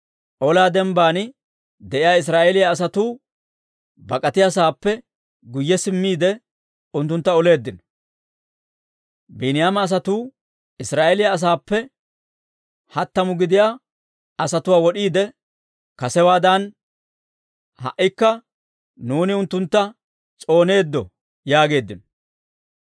olaa dembbaan de'iyaa Israa'eeliyaa asatuu bak'atiyaasaappe guyye simmiide, unttuntta oleeddino. Biiniyaama asatuu Israa'eeliyaa asaappe hattamu gidiyaa asatuwaa wod'iide, «Kasewaadan ha"ikka nuuni unttuntta s'ooneeddo» yaageeddino.